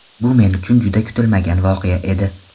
Bu men uchun juda kutilmagan voqea edi.